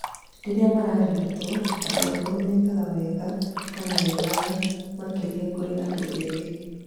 Rĩrĩa mararigitwo, andũ akũrũ mekaga wega kana wegaga makĩria kũrĩ andũ ethĩ